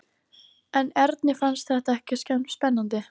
En Erni fannst þetta ekkert spennandi.